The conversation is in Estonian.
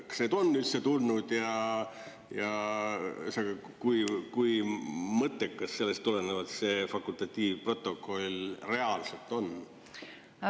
Kas neid on üldse tulnud ja kui mõttekas sellest tulenevalt see fakultatiivprotokoll reaalselt on?